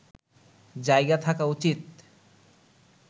জায়গা থাকা উচিৎ